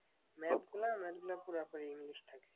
Math না math গুলা পুরাপুরি ইংলিশ থাকে।